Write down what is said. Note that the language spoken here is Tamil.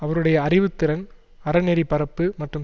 அவருடைய அறிவு திறன் அற நெறி பரப்பு மற்றும்